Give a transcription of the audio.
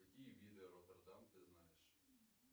какие виды ротердам ты знаешь